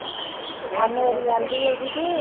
ਆ ਮੇਰੀ ਆਂਦੀ ਓ ਗੀ ਬੀ